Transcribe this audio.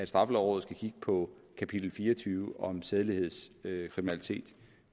straffelovrådet skal kigge på kapitel fire og tyve om sædelighedskriminalitet